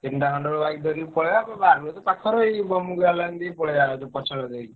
ତିନିଟା ଖଣ୍ଡେ ବେଳୁ bike ଧରି ପଳେଇଆ। ବାରୁଅ ତ ପାଖରେ ଏଇ ଦେଇ ପଳେଇଆ ଯୋଉ ପଛ ପଟ ଦେଇ।